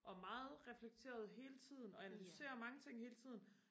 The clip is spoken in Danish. og meget reflekteret hele tiden og analyserer mange ting hele tiden